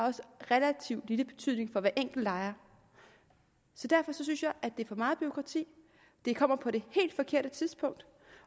relativt lille betydning for hver enkelt lejer derfor synes jeg det er for meget bureaukrati det kommer på det helt forkerte tidspunkt